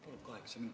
Palun kaheksa minutit.